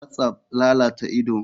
Whatsapp lalata ido.